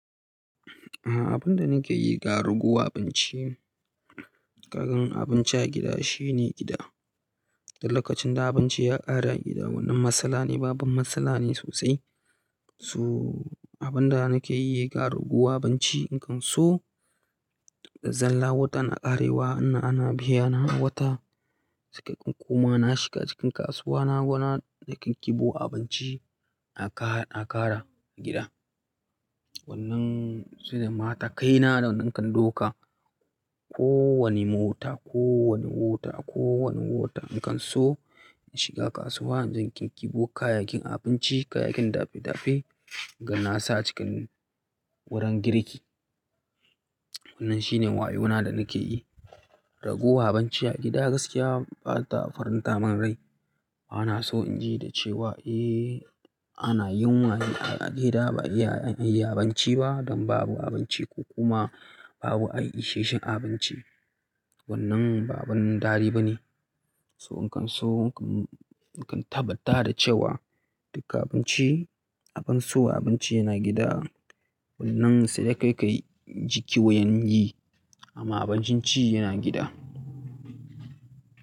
Abun da nike yi, ga raguwa abinci. Kagan abinci a gida shine gida. Da lokacin da abunci ya ƙare a gida, wannan matsala ne, babban matsala ne sosai. So abin da nake yi, ga raguwa abinci, ni kan so, da zalla watan na ƙarewa, ina ana biya na a wata, sai ka ga kuma na, shiga cikin kasuwa na, gona kinkiɓo abinci a ƙar, a ƙara gida. Wannan sune matakaina da nakan dauka. Ko wani mota, ko wani wata, ko wani wata, ni kan so in shiga kasuwa, in je in ƙinƙibo kayakin abinci, kayakin dafe-dafe, in ga na sa cikin wurin girki. Wannan shine wayona da nake yi. Raguwa abinci a gida gaskiya bata farinta min rai. Bana so in ji da cewa, 'Eh ana yunwa a gida ba iya yin abinci ba don babu abinci ko kuma babu ai isasshen abinci.' Wannan ba abun daɗi ba ne. So ni kan so, ni kan tabbata da cewa duka abinci, abun so abinci yana gida. Wannan sai dai kai ka, ji kiwuyan yi amma abincin ci yana gida.